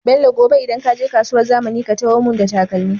Bello gobe idan kaje kasuwar zamani ka taho mun da takalmi